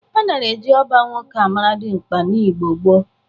A nara e ji ọba nwoke amara dịmkpa n'Igbo gboo.